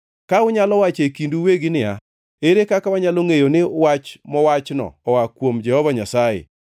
Unyalo wacho e kindu uwegi niya, “Ere kaka wanyalo ngʼeyo ni wach mowachno oa kuom Jehova Nyasaye?”